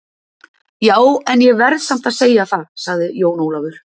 Ja, en ég verð samt að segja það, sagði Jón Ólafur.